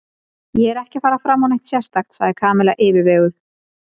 Ég er ekki að fara fram á neitt sérstakt sagði Kamilla yfirveguð.